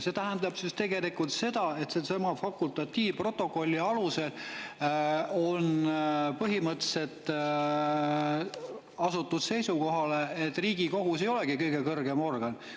See tähendab tegelikult seda, et sellesama fakultatiivprotokolli alusel on põhimõtteliselt asutud seisukohale, et Riigikohus ei olegi kõige kõrgem organ.